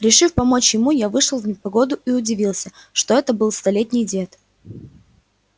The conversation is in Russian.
решив помочь ему я вышел в непогоду и удивился что это был столетний дед